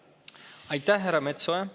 Aitäh, härra Metsoja!